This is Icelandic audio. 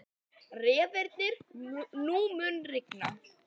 Reifnir, mun rigna í dag?